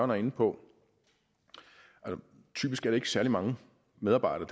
var inde på er det typisk ikke særlig mange medarbejdere